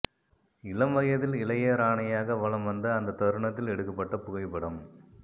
இளம்வயதில் இளைய ராணியாக வலம் வந்த அந்த தருணத்தில் எடுக்கப்பட்ட புகைப்படம்